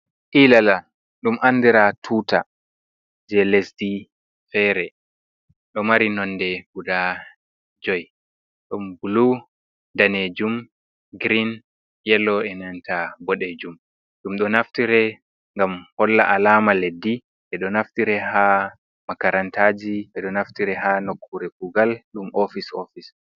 Ilala ɗum andira tuta je lesdi fere, ɗo mari nonde guda joi, ɗon bulu, danejum, green, yelo, e nanta boɗejum ɗum ɗo naftire ngam holla alama leddi, ɓeɗo naftire ha makarantaji, ɓe ɗo naftire ha nokkure kugal ɗum ofis ofis.